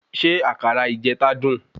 Ṣé àkàrà ìjeta dun?